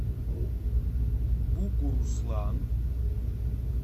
бугуруслан